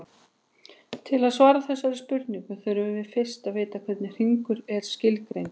Til að svara þessari spurningu þurfum við fyrst að vita hvernig hringur er skilgreindur.